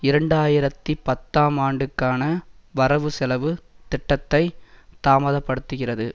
இரண்டு ஆயிரத்தி பத்தாம் ஆண்டுக்கான வரவு செலவு திட்டத்தை தாமதப்படுத்துகிறது